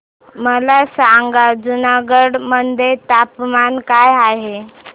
मला सांगा जुनागढ मध्ये तापमान काय आहे